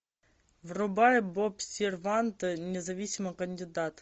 врубай боб сервант независимый кандидат